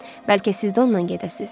Bəlkə siz də onunla gedəsiz?